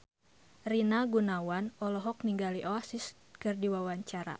Rina Gunawan olohok ningali Oasis keur diwawancara